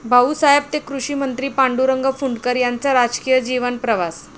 भाऊसाहेब ते कृषीमंत्री, पांडुरंग फुंडकर यांचा राजकीय जीवन प्रवास...